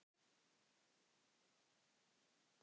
Við trúum því ekki.